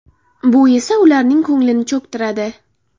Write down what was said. Bu esa ularning ko‘nglini cho‘ktiradi.